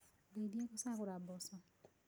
Ndeithia gũcagũra mboco